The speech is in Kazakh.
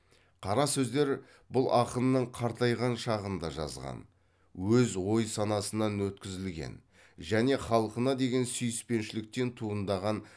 қара сөздер бұл ақынның қартайған шағында жазған өз ой санасынан өткізілген және халқына деген сүйіспеншіліктен туындаған